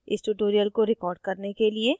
इस tutorial को record करने के लिए